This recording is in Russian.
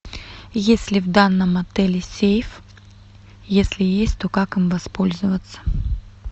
есть ли в данном отеле сейф если есть то как им воспользоваться